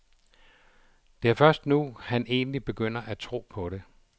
Det er først nu, han egentlig begynder at tro på det.